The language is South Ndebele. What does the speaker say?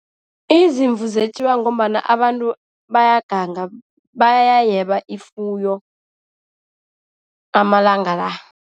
Izimvu zetjiwa ngombana abantu bayaganga. Bayayeba ifuyo amalanga la.